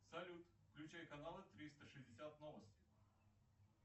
салют включай каналы триста шестьдесят новости